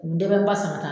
U bɛ dɛsɛ masɔn ta